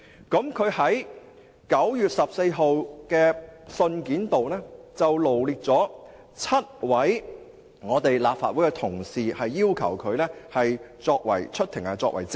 他在9月14日的信件中，臚列了7位立法會同事，要求他們出庭作證。